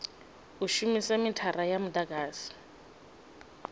u shumisa mithara ya mudagasi